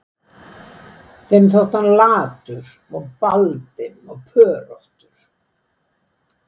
Þeim þótti hann latur og baldinn og pöróttur